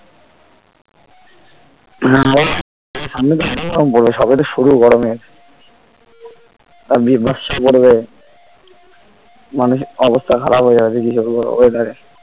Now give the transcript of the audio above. আহ আবার সামনে তো আরো গরম পড়বে সবে তো শুরু গরমের মানুষের অবস্থা খারাব হয়ে যাবে . weather এ